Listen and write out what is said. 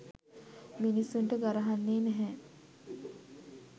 මිනිස්සුන්ට ගරහන්නේ නැහැ